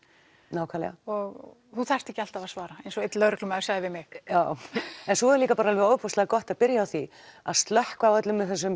nákvæmlega og þú þarft ekki alltaf að svara eins og einn lögreglumaður sagði við mig já en svo er líka ofboðslega gott að byrja á því að slökkva á öllum þessum